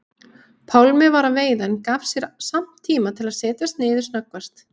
Pálmi var að veiða en gaf sér samt tíma til að setjast niður snöggvast.